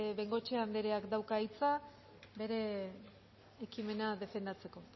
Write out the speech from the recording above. bengoechea andereak dauka hitza bere ekimena defendatzeko